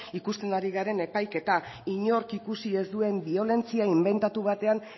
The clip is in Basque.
ikusten ari garen epaiketa inork ikusi ez duen biolentzia inbentatu batean